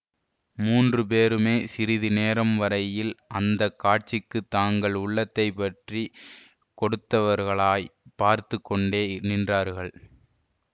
மூன்று பேருமே சிறிது நேரம் வரையில் அந்த காட்சிக்குத் தங்கள் உள்ளத்தை பற்றி கொடுத்தவர்களாய்ப் பார்த்து கொண்டே நின்றார்கள்